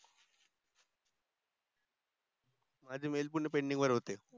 मझे mail पूर्ण pending वर होते